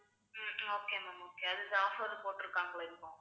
உம் okay ma'am okay அது offer போட்டிருக்காங்களா இப்போ